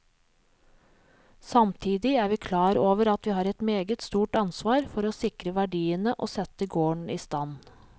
Samtidig er vi klar over at vi har et meget stort ansvar for å sikre verdiene og sette gården i stand.